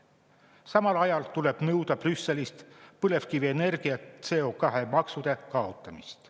Samal ajal tuleb nõuda Brüsselilt põlevkivienergia CO2‑maksude kaotamist.